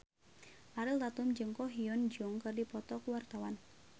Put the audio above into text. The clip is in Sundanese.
Ariel Tatum jeung Ko Hyun Jung keur dipoto ku wartawan